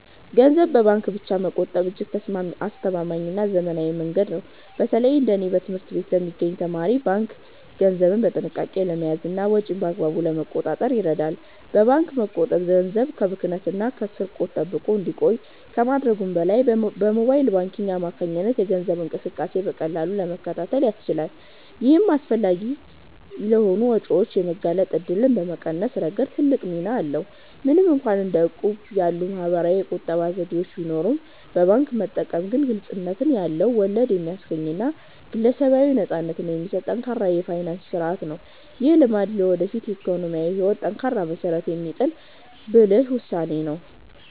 ገንዘብን በባንክ ብቻ መቆጠብ እጅግ አስተማማኝና ዘመናዊ መንገድ ነው። በተለይ እንደ እኔ በትምህርት ላይ ለሚገኝ ተማሪ፣ ባንክ ገንዘብን በጥንቃቄ ለመያዝና ወጪን በአግባቡ ለመቆጣጠር ይረዳል። በባንክ መቆጠብ ገንዘብ ከብክነትና ከስርቆት ተጠብቆ እንዲቆይ ከማድረጉም በላይ፣ በሞባይል ባንኪንግ አማካኝነት የገንዘብ እንቅስቃሴን በቀላሉ ለመከታተል ያስችላል። ይህም አላስፈላጊ ለሆኑ ወጪዎች የመጋለጥ እድልን በመቀነስ ረገድ ትልቅ ሚና አለው። ምንም እንኳን እንደ እቁብ ያሉ ማኅበራዊ የቁጠባ ዘዴዎች ቢኖሩም፣ በባንክ መጠቀም ግን ግልጽነት ያለው፣ ወለድ የሚያስገኝና ግለሰባዊ ነፃነትን የሚሰጥ ጠንካራ የፋይናንስ ሥርዓት ነው። ይህ ልማድ ለወደፊት የኢኮኖሚ ሕይወት ጠንካራ መሠረት የሚጥል ብልህ ውሳኔ ነው።